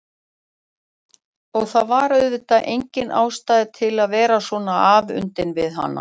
Og það var auðvitað engin ástæða til að vera svona afundin við hana.